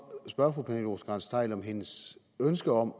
spørge fru pernille rosenkrantz theil om hendes ønske om